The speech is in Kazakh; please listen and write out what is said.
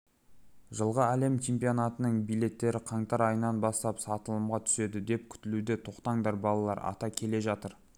жылғы әлем чемпионатының билеттері қаңтар айынан бастап сатылымға түседі деп күтілуде тоқтаңдар балалар ата келе жатыр